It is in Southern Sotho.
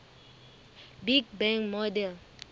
big bang model